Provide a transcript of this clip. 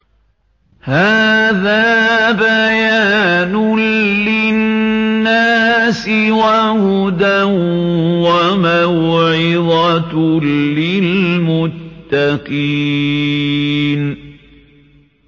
هَٰذَا بَيَانٌ لِّلنَّاسِ وَهُدًى وَمَوْعِظَةٌ لِّلْمُتَّقِينَ